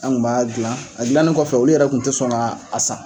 An ŋu b'a dilan , a dilannen kɔfɛ olu yɛrɛ tun tɛ sɔn ŋa a san.